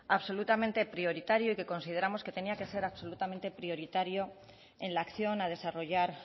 absolutamente prioritario y que consideramos que tenía que ser absolutamente prioritario en la acción a desarrollar